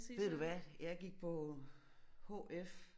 Ved du hvad jeg gik på hf